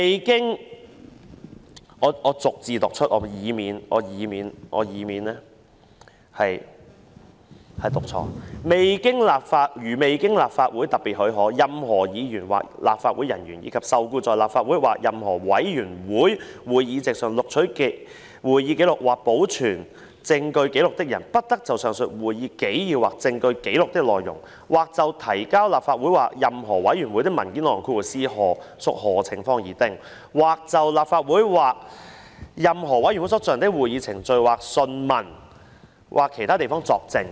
讓我逐字唸出來，以免說錯："如未經立法會特別許可，任何議員或立法會人員，以及受僱在立法會或任何委員會會議席上錄取會議紀要或保存證據紀錄的人，不得就上述會議紀要或證據紀錄的內容、或就提交立法會或任何委員會的文件內容、或就立法會或任何委員會所進行的會議程序或訊問......在其他地方作證。